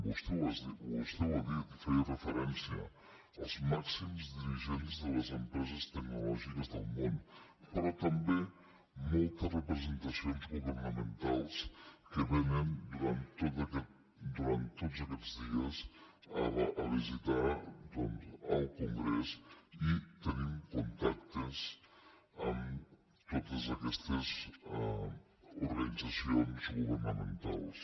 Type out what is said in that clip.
vostè ho ha dit hi feia referència els màxims dirigents de les empreses tecnològiques del món però també moltes representacions governamentals que vénen durant tots aquests dies a visitar el congrés i tenim contactes amb totes aquestes organitzacions governamentals